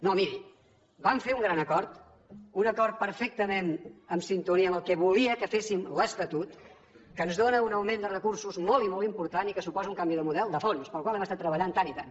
no miri vam fer un gran acord un acord perfectament en sintonia amb el que volia que féssim l’estatut que ens dóna un augment de recursos molt i molt important i que suposa un canvi de model de fons per al qual hem estat treballant tant i tant